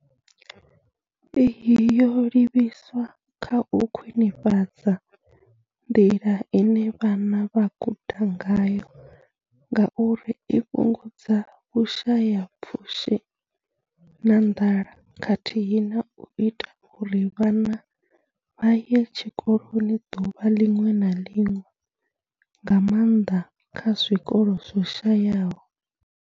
Iyi yo livhiswa kha u khwinifhadza nḓila ine vhana vha guda ngayo ngauri i fhungudza vhushayapfushi na nḓala khathihi na u ita uri vhana vha ye tshikoloni ḓuvha ḽiṅwe na ḽiṅwe, nga maanḓa kha zwikolo zwo shayaho.